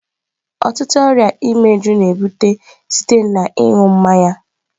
Ọtụtụ ọrịa imeju na-ebute site na ịṅụ mmanya.